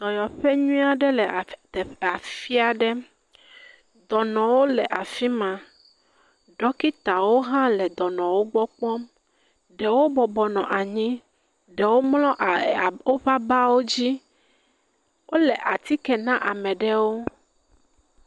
Dɔyɔƒe nyuie ɖe le af, teƒ afi aɖe. dɔnɔwo le afi ma. Ɖɔkitawo hã le dɔnɔwo gbɔ kpɔm. Ɖewo bɔbɔ nɔ anyi, ɖewo mlɔ aa ɛɛɛ woƒe abawo dzi. wole atike na ame ɖewo.